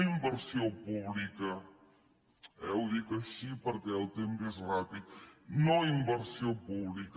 no inversió pública eh ho dic així perquè el temps és ràpid no inversió pública